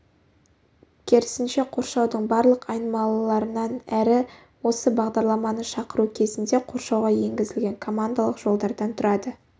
керісінше қоршаудың барлық айнымалыларынан әрі осы бағдарламаны шақыру кезінде қоршауға енгізілген командалық жолдардан тұрады